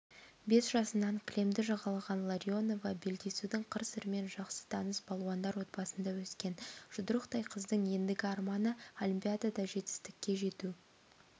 бес жасынан кілемді жағалаған ларионова белдесудің қыр-сырымен жақсы таныс балуандар отбасында өскен жұдырықтай қыздың ендігі арманы олимпиадада жетістікке жету